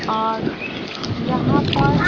और यहां पर--